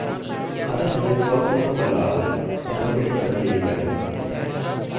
अतः हमने firstname और lastname और submit बटन ले लिया है